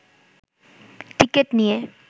ticket নিয়ে